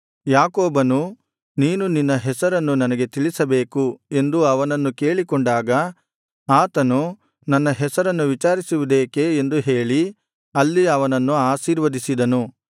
ಯಾಕೋಬನು ನೀನು ನಿನ್ನ ಹೆಸರನ್ನು ನನಗೆ ತಿಳಿಸಬೇಕು ಎಂದು ಅವನನ್ನು ಕೇಳಿಕೊಂಡಾಗ ಆತನು ನನ್ನ ಹೆಸರನ್ನು ವಿಚಾರಿಸುವುದೇಕೆ ಎಂದು ಹೇಳಿ ಅಲ್ಲಿ ಅವನನ್ನು ಆಶೀರ್ವದಿಸಿದನು